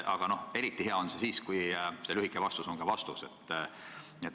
Aga eriti hea on, kui lühike vastus on ka vastus.